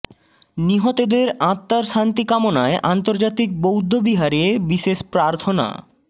নিহতদের আত্মার শান্তি কামনায় আন্তর্জাতিক বৌদ্ধ বিহারে বিশেষ প্রার্থনা